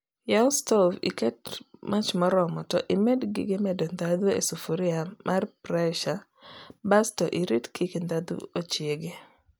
yaw stov iket mach maromo to imeg gig medo dhadhu e sufuria mar presa bas to irit kik dhadhu ochiegi